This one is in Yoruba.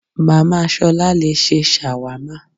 Màmá ṣolá le ṣe ṣàwámà